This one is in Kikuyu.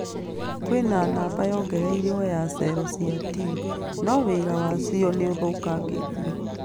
Kwĩna namba yongereirwo ya cero cia T, no wĩra wacio nĩ ũthũkangĩtio